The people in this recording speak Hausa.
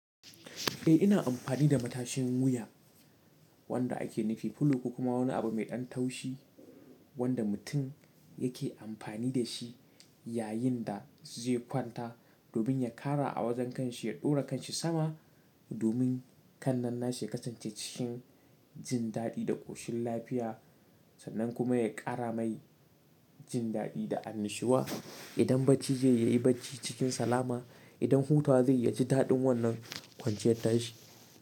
Eh ina amfani da matashin wuya wanda ake nufi filo ko kuma wani abu mai ɗan taushi wanda mutum yake amfani da shi yayin da zai kwanta domin ya ƙara a wajen kanshi ya ɗora kanshi sama domin kan nan na shi ya kasance cikin jin daɗi da ƙoshin lafiya sannan kuma ya ƙara mai jin daɗi da annushuwa. Idan bacci zai ya yi bacci cikin salama idan hutawa zai ya ci daɗin wannan kwanciyar tashi.